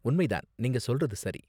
உண்மை தான், நீங்க சொல்றது சரி.